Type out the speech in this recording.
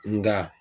Nka